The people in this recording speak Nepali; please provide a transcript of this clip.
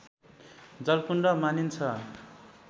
जलकुण्ड मानिन्छ